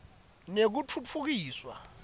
nekutfutfukiswa